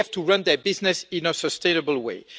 they have to run their businesses in a sustainable way.